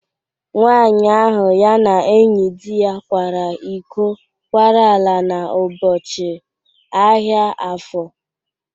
Nwaanyị ahụ ya na enyi dị ya kwara iko kwara ala n'ụbọchị ahịa afọ.